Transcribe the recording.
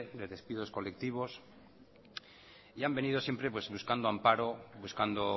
de despidos colectivos y han venido siempre buscando amparo buscando